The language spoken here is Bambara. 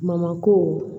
ko